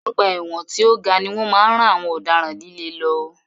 Ọgbà ẹ̀wọ̀n tí o ga ni wọ́n máa ń rán àwọn ọ̀daràn líle lọ.